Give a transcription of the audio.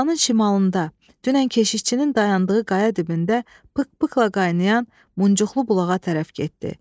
Obanın şimalında, dünən keşişçinin dayandığı qaya dibində pıq-pıqla qaynayan muncuqulu bulağa tərəf getdi.